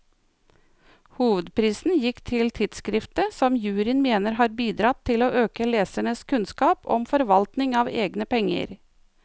Hovedprisen gikk til tidskriftet, som juryen mener har bidratt til å øke lesernes kunnskap om forvaltning av egne penger.